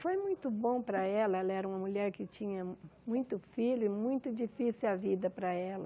Foi muito bom para ela, ela era uma mulher que tinha muito filho e muito difícil a vida para ela.